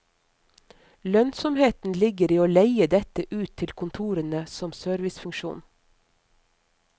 Lønnsomheten ligger i å leie dette ut til kontorene som servicefunksjon.